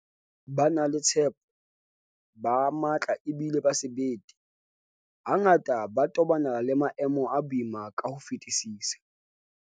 Ba na le tshepo, ba matla ebile ba sebete, hangata ba tobana le maemo a boima ka ho fetisisa.